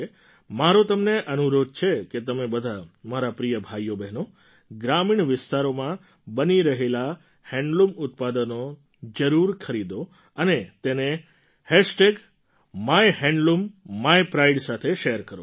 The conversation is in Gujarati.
મારો તમને અનુરોધ છે કે તમે બધા મારા પ્રિય ભાઈઓબહેનો ગ્રામીણ વિસ્તારોમાં બની રહેલાં હેન્ડલૂમ ઉત્પાદનો જરૂર ખરીદો અને તેને માયહેન્ડલૂમીપ્રાઇડ સાથે શૅર કરો